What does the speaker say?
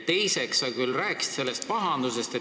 Teiseks, sa rääkisid sellest pahandusest.